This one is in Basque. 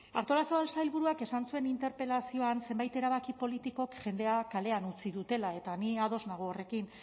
artolazabal sailburuak esan zuen interpelazioan zenbait erabaki politikok jendea kalean utzi dutela eta ni ados nago horrekin